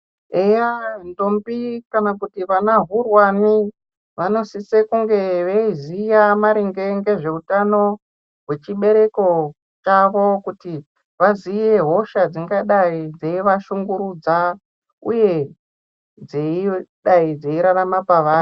Eya ndombi kana kuti ana hurwane vanosise kunge veiziya maringe ngezveutano hwechibereko chavo kuti vaziye hosha dzingadei dzeivashungurudza uye dzeidai dzeirarama pevari.